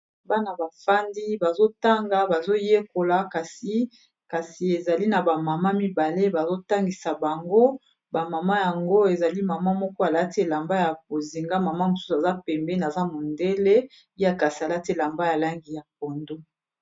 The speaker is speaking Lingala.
Bana bafandi bazo tanga bazo yekola kasi ezali na ba mama mibale bazotangisa bango ba mama yango ezali mama moko alati elamba ya bozinga mama mosusu aza pembeni aza mondele ya kasi alati elamba ya langi ya pondo.